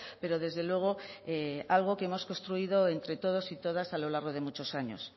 pero desde luego algo que hemos construido entre todos y todas a lo largo de muchos años